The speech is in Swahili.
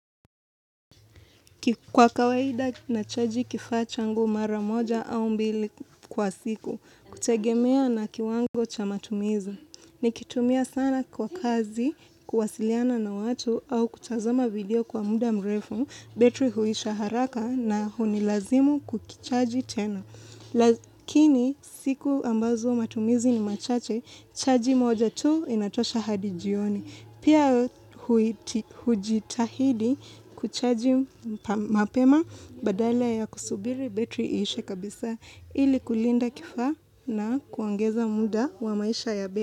Kwa kawaida nachaji kifaa changu mara moja au mbili kwa siku, kutegemea na kiwango cha matumizi. Nikitumia sana kwa kazi, kuwasiliana na watu au kutazama video kwa muda mrefu, betri huisha haraka na hunilazimu kukichaji tena. Lakini siku ambazo matumizi ni machache, chaji moja tu inatosha hadi jioni. Pia hujitahidi kuchaji mapema badala ya kusubiri betri ishe kabisa ili kulinda kifaa na kuongeza muda wa maisha ya betri.